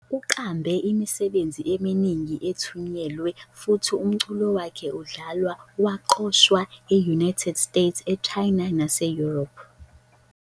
Uqambe imisebenzi eminingi ethunyelwe, futhi umculo wakhe udlalwe waqoshwa e-United States, China nase-Europe.